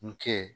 N kɛ